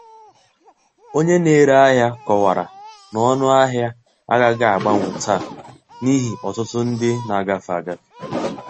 Onye na-ere ahịa kọwara na ọnụ ahịa agaghị agbanwe taa n’ihi ọtụtụ ndị na-agafe agafe.